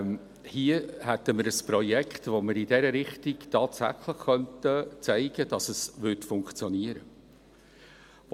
Hier hätten wir ein Projekt, bei dem wir tatsächlich zeigen könnten, dass es in diese Richtung funktionieren würde.